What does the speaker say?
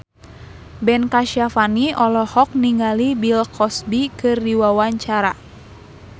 Ben Kasyafani olohok ningali Bill Cosby keur diwawancara